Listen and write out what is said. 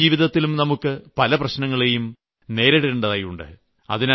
നിത്യജീവിതത്തിലും നമുക്ക് പല പ്രശ്നങ്ങളേയും നേരിടേണ്ടതായിട്ടുണ്ട്